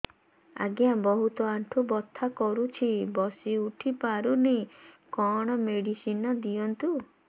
ଆଜ୍ଞା ବହୁତ ଆଣ୍ଠୁ ବଥା କରୁଛି ବସି ଉଠି ପାରୁନି କଣ ମେଡ଼ିସିନ ଦିଅନ୍ତୁ